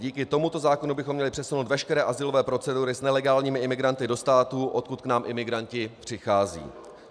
Díky tomuto zákonu bychom měli přesunout veškeré azylové procedury s nelegálními imigranty do států, odkud k nám imigranti přicházejí.